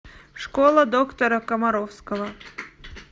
школа доктора комаровского